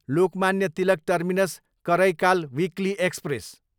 Lokmanya Tilak terminus, Karaikal weekly express